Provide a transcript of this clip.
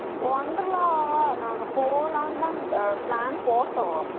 Wonderla நாங்க போகலாம் தான் போட்டோம்